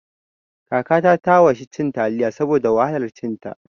Kakata ta washi cin taliyar saboda wahalar cin ta